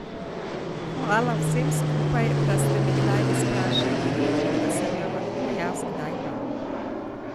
Hvala vsem skupaj, da ste mi kdaj izprašili rit in da sem jo lahko jaz kdaj vam.